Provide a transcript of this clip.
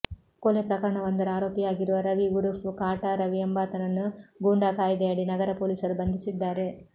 ಕೊಲೆ ಪ್ರಕರಣವೊಂದರ ಆರೋಪಿಯಾಗಿರುವ ರವಿ ಉರುಫ್ ಕಾಟಾ ರವಿ ಎಂಬಾತನನ್ನು ಗೂಂಡಾಕಾಯ್ದೆಯಡಿ ನಗರ ಪೊಲೀಸರು ಬಂಧಿಸಿದ್ದಾರೆ